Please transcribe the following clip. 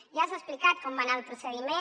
ja s’ha explicat com va anar el procediment